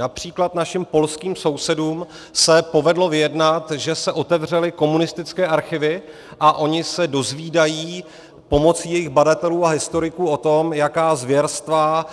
Například našim polským sousedům se povedlo vyjednat, že se otevřely komunistické archivy, a oni se dozvídají pomocí jejich badatelů a historiků o tom, jaká zvěrstva